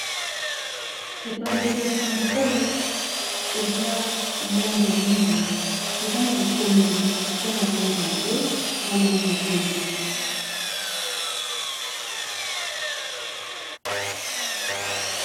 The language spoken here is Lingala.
epanzeli ya sango oyo eza na langi ya mwindo eza na bikomele eza na lange ya mbwe na langi ya pembe